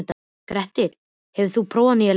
Grettir, hefur þú prófað nýja leikinn?